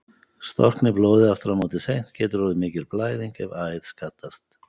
Storkni blóð aftur á móti seint getur orðið mikil blæðing ef æð skaddast.